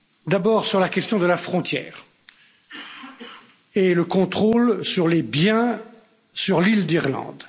D'abord sur la question de la frontière et du contrôle sur les biens sur l'île d'Irlande.